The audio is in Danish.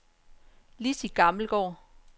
Lizzi Gammelgaard